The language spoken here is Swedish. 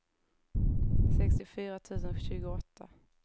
sextiofyra tusen tjugoåtta